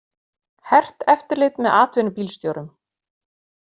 Hert eftirlit með atvinnubílstjórum